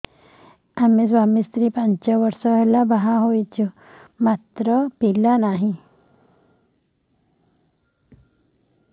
ଆମେ ସ୍ୱାମୀ ସ୍ତ୍ରୀ ପାଞ୍ଚ ବର୍ଷ ହେଲା ବାହା ହେଇଛୁ ମାତ୍ର ପିଲା ନାହିଁ